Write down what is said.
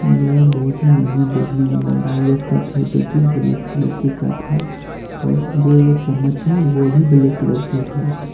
यह बहुत ही बढ़िया देखने में लग रहा है यह कप है जो की ब्लैक कलर की कप है और जो चम्मच है वो भी ब्लैक कलर की है।